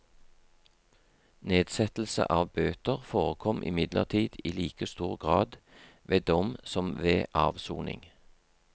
Nedsettelse av bøter forekom imidlertid i like stor grad ved dom som ved avsoning.